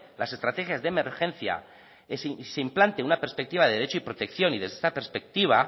las estrategias de emergencia se implante una perspectiva de derecho y protección y desde esta perspectiva